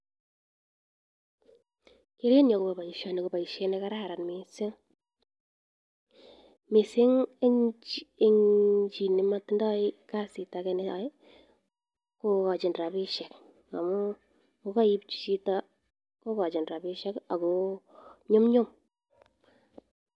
Kerenyun agobo boisioni, kokararan mising. Mising en chi nemotindo kasit age ne yoe kogochi rabishek . Amun ngokoipchi chito kogochi rabishek ago nyumnyum.